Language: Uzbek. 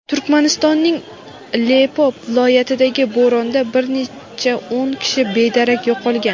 Turkmanistonning Lebop viloyatidagi bo‘ronda bir necha o‘n kishi bedarak yo‘qolgan.